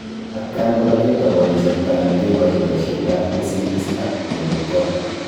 Atkan kora ketoboni chepto anan kekochi boisietab kosigis ak koriib koot